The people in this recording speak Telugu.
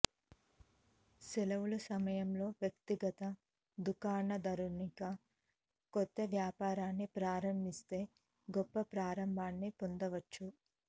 సెలవులు సమయంలో వ్యక్తిగత దుకాణదారునిగా కొత్త వ్యాపారాన్ని ప్రారంభిస్తే గొప్ప ప్రారంభాన్ని పొందవచ్చు